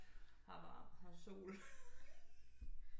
Her er varm her er sol